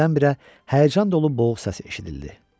Birdən-birə həyəcan dolu boğuq səs eşidildi.